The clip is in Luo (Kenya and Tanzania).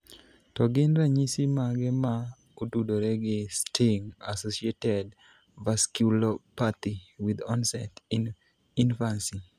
To gin ranyisi mage ma otudore gi STING associated vasculopathy with onset in infancy?